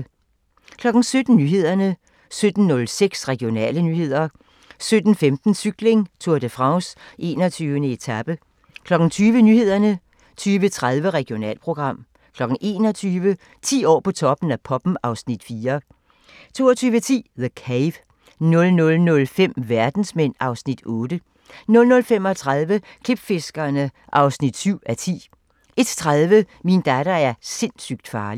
17:00: Nyhederne 17:06: Regionale nyheder 17:15: Cykling: Tour de France - 21. etape 20:00: Nyhederne 20:30: Regionalprogram 21:00: 10 år på Toppen af poppen (Afs. 4) 22:10: The Cave 00:05: Verdensmænd (Afs. 8) 00:35: Klipfiskerne (7:10) 01:30: Min datter er sindssygt farlig